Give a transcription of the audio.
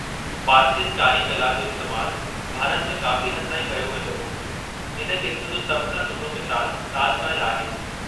पारचिन कारी कला जो इस्तेमालु भारत में काफ़ी हद ताईं कयो वेंदो हो; इन क़िस्म जो सभु खां सुठो मिसालु ताज महलु आहे।